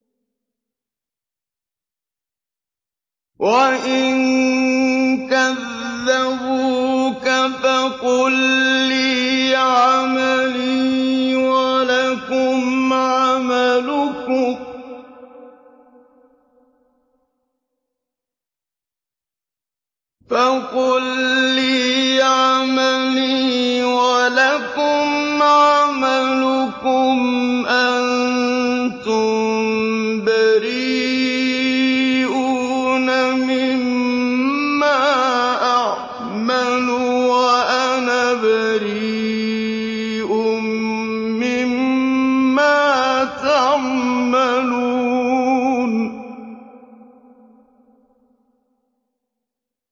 وَإِن كَذَّبُوكَ فَقُل لِّي عَمَلِي وَلَكُمْ عَمَلُكُمْ ۖ أَنتُم بَرِيئُونَ مِمَّا أَعْمَلُ وَأَنَا بَرِيءٌ مِّمَّا تَعْمَلُونَ